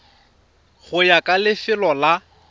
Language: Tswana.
go ya ka lefelo la